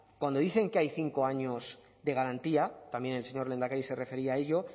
cuando dicen que hay cinco años de garantía también el señor lehendakari se refería a ello